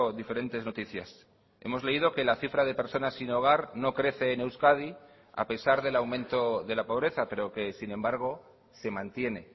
diferentes noticias hemos leído que la cifra de personas sin hogar no crece en euskadi a pesar del aumento de la pobreza pero que sin embargo se mantiene